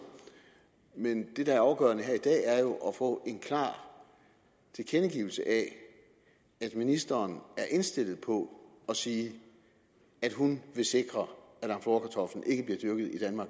men det der er afgørende at få en klar tilkendegivelse af at ministeren er indstillet på at sige at hun vil sikre